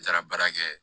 N taara baara kɛ